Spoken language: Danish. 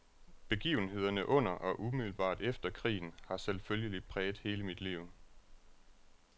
Begivenhederne under og umiddelbart efter krigen har selvfølgelig præget hele mit liv.